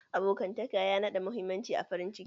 Abokantaka ya nada muhimmanci a farin ciki